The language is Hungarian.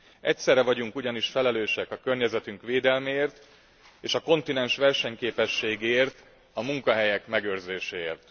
Egyszerre vagyunk ugyanis felelősek a környezetünk védelméért, és a kontinens versenyképességéért, a munkahelyek megőrzéséért.